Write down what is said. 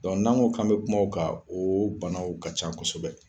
n'an ko kan be kuma o kan , o banaw ka ca kɔsɔbɛ.